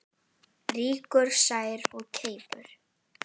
Rýkur sær of keipum.